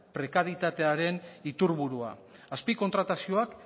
prekarietatearen iturburua azpi kontratazioak